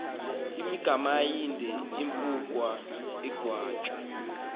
magamaindwe impikwana negwatyu